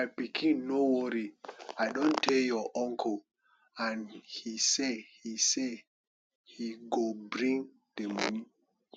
my pikin no worry i don tell your uncle and he say he say he go bring the money